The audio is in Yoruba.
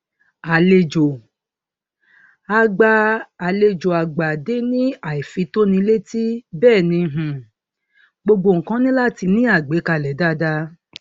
àlejò àgbà àlejò àgbà dé ní àìfitónilétí bẹẹ ni um gbogbo nnkan ní láti ní àgbékalẹ dáadáa